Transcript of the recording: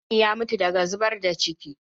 Imani ya mutu daga zubar da ciki.